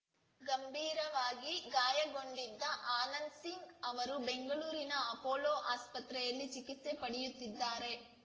ಗಂಭೀರವಾಗಿ ಗಾಯಗೊಂಡಿದ್ದ ಆನಂದ್‌ಸಿಂಗ್‌ ಅವರು ಬೆಂಗಳೂರಿನ ಅಪೋಲೋ ಆಸ್ಪತ್ರೆಯಲ್ಲಿ ಚಿಕಿತ್ಸೆ ಪಡೆಯುತ್ತಿದ್ದಾರೆ